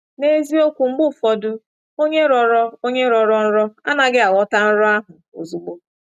N’eziokwu, mgbe ụfọdụ onye rọrọ onye rọrọ nrọ anaghị aghọta nrọ ahụ ozugbo.